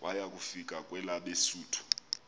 waya kufika kwelabesuthu